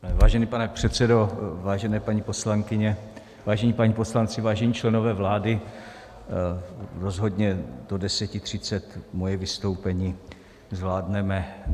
Vážený pane předsedo, vážené paní poslankyně, vážení páni poslanci, vážení členové vlády, rozhodně do 10.30 moje vystoupení zvládneme.